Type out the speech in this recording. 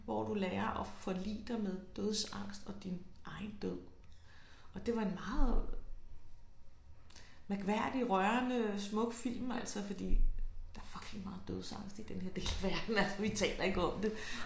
Hvor du lærer at forlige dig med dødsangst og din egen død og det var en meget mærkværdig rørende smuk film altså fordi der er fucking meget dødsangst i den her del af verden altså vi taler ikke om det